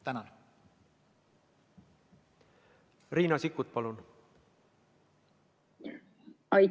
Riina Sikkut, palun!